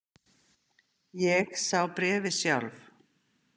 Ég sá bréfið sjálf.